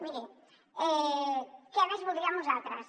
miri què més voldríem nosaltres